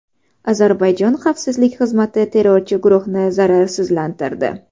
Ozarbayjon xavfsizlik xizmati terrorchi guruhni zararsizlantirdi.